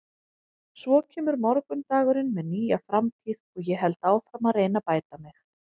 Svo kemur morgundagurinn með nýja framtíð og ég held áfram að reyna að bæta mig.